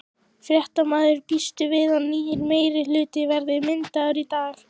Fréttamaður: Býstu við að nýr meirihluti verði myndaður í dag?